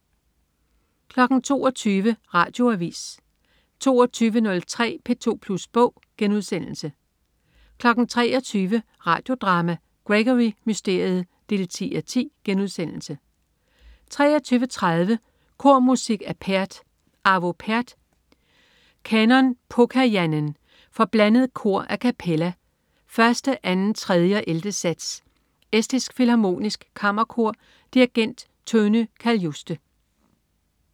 22.00 Radioavis 22.03 P2plus bog* 23.00 Radio Drama: Gregory Mysteriet 10:10* 23.30 Kormusik af Pärt. Arvo Pärt: Kanon Pokajanen, for blandet kor a cappella, 1. 2., 3. og 11. sats. Estisk Filharmonisk Kammerkor. Dirigent: Tönu Kaljuste